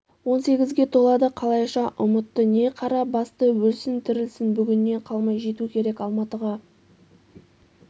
он сегізге толады қалайша ұмытты не қара басты өлсін-тірілсін бүгіннен қалмай жету керек алматыға